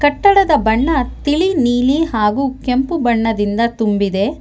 ಕಟ್ಟಡದ ಬಣ್ಣ ತಿಳಿ ನೀಲಿ ಹಾಗು ಕೆಂಪು ಬಣ್ಣದಿಂದ ತುಂಬಿದೆ.